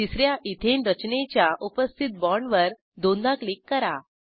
तिस या इथेन रचनेच्या उपस्थित बाँडवर दोनदा क्लिक करा